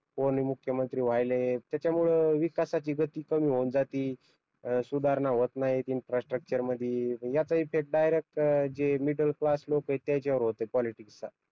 कोणी मुख्यमंत्री व्हायलंय त्याच्यामुळे विकासाची गती कमी होऊन जाती अं सुधारणा होत नाही इंफ्रास्ट्रक्चर मध्ये याचा इफेक्ट डायरेक्ट जे मिडल क्लास लोक आहेत त्यांच्यावर होतोय पॉलिटिक्स चा